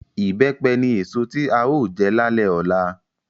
Ìbẹ́pẹ ni èso tí a ó jẹ lálẹ́ ọ̀la